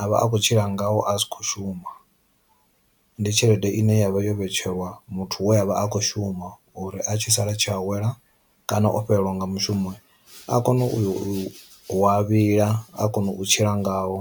avha a kho tshila ngao a tshi khou shuma. Ndi tshelede ine yavha yo vhetshelwa muthu we avha a kho shuma uri a tshi sala tshi awela kana o fhelelwa nga mushumo a kone u yo a vhila a kona u tshila ngao.